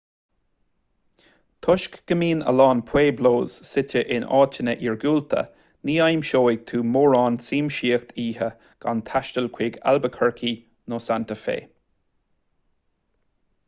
toisc go mbíonn a lán pueblos suite in áiteanna iargúlta ní aimseoidh tú mórán siamsaíocht oíche gan taisteal chuig albuquerque nó santa fe